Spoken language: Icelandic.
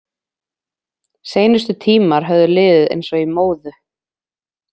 Seinustu tímar höfðu liðið eins og í móðu.